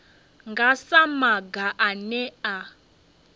nga sa maga ane a